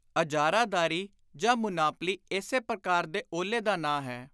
ਅਜਾਰਾਦਾਰੀ ਜਾਂ ਮੁਨਾਪਲੀ ਇਸੇ ਪਕਾਰ ਦੇ ਓਹਲੇ ਦਾ ਨਾਂ ਹੈ।